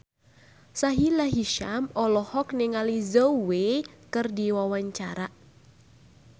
Sahila Hisyam olohok ningali Zhao Wei keur diwawancara